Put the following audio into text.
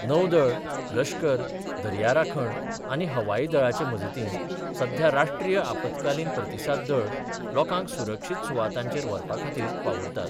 नौदळ, लश्कर, दर्या राखण आनी हवाई दळाचे मजतीन सध्या राष्ट्रीय आपतकालीन प्रतिसाद दळ लोकांक सुरक्षीत सुवातांचेर व्हरपा खातीर वावुरतात.